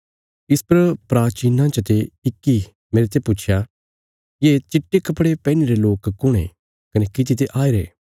इस पर प्राचीनां चते इक्की मेरते पुच्छया ये चिट्टे कपड़े पैहनीरे लोक कुण ये कने किति ते आईरे